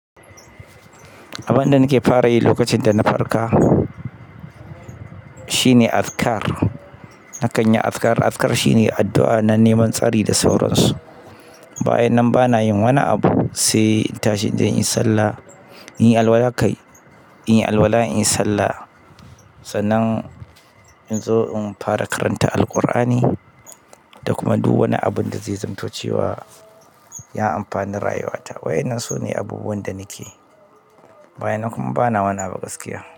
Abin da nake fara yi lokacin da na farka shine azkar. Na kan yi azkar. Azkar shine addu'a na neman tsari da sauransu. Bayan nan bana yin wani abu sai in tashi inje inyi sallah, in yi alwala kai, in yi alwala, in yi sallah. Sannan in zo in fara karanta Alqur'ani da kuma duk wani abun da zai zamto cewa, ya amfani rayuwata. Wa'yannan su ne abubuwan da nake. Bayan nan kuma bana wani abu gaskiya.